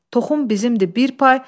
Toxum bizimdir, bir pay.